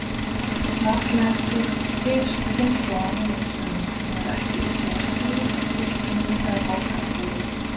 Varla er til sú kynslóð í Mið-Austurlöndum sem hefur ekki upplifað stríð, byltingu, eða borgarastyrjöld.